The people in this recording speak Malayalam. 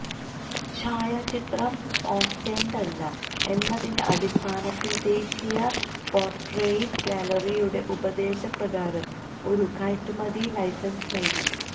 ഛായാചിത്രം ഓസ്റ്റന്റെതല്ല എന്നതിന്റെ അടിസ്ഥാനത്തിൽ ദേശീയ പോർട്രെയിറ്റ് ഗാലറിയുടെ ഉപദേശപ്രകാരം ഒരു കയറ്റുമതി ലൈസൻസ് നൽകി